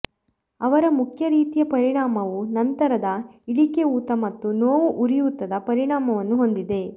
ಅವರ ಮುಖ್ಯ ರೀತಿಯ ಪರಿಣಾಮವು ನಂತರದ ಇಳಿಕೆ ಊತ ಮತ್ತು ನೋವು ಉರಿಯೂತದ ಪರಿಣಾಮವನ್ನು ಹೊಂದಿದೆ